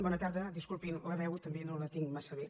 bona tarda disculpin la veu també no la tinc massa bé